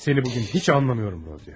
Səni bu gün heç anlamıram, Raziya.